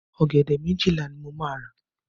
Ọ̀gẹ̀dẹ̀ méjìlá ni mo máa rà.